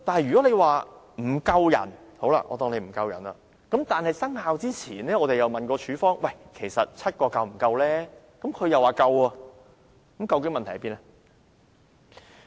如果說署方人手不足，但在第 139B 章生效前我們曾問過署方其實7個是否足夠，處方卻說足夠，那麼究竟問題何在？